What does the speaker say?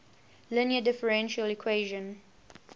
linear differential equation